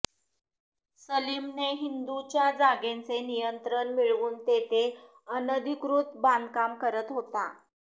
सलीमने हिंदूच्या जागेचे नियंत्रण मिळवून तेथे अनधिकृत बांधकाम करत होता